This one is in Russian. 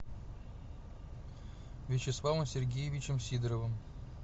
вячеславом сергеевичем сидоровым